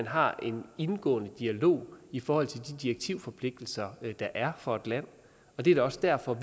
har en indgående dialog i forhold til de direktivforpligtelser der er for et land og det er da også derfor